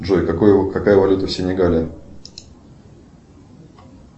джой какая валюта в сенегале